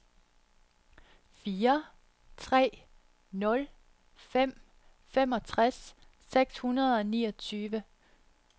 fire tre nul fem femogtres seks hundrede og niogtyve